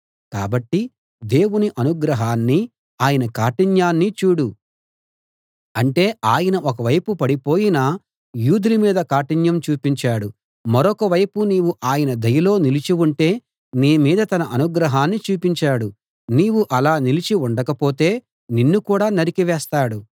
కాబట్టి దేవుని అనుగ్రహాన్ని ఆయన కాఠిన్యాన్ని చూడు అంటే ఆయన ఒక వైపు పడిపోయిన యూదుల మీద కాఠిన్యం చూపించాడు మరొకవైపు నీవు ఆయన దయలో నిలిచి ఉంటే నీ మీద తన అనుగ్రహాన్ని చూపించాడు నీవు అలా నిలిచి ఉండకపోతే నిన్ను కూడా నరికివేస్తాడు